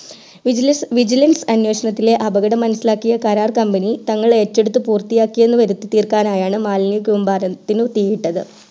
vigilance അനേഷണത്തിലെ അപകടം മനസ്സിലാക്കിയ കരാർ company തങ്ങൾ ഏറ്റുഎടുത്തു പൂർത്തിയാക്കി എന്ന് വരുത്തി തീർക്കാൻ ആയിആണ് മാലിന്യ കൂമ്പരത്തിനു തീ ഇട്ടത്